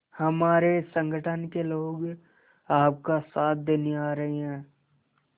हमारे संगठन के लोग आपका साथ देने आ रहे हैं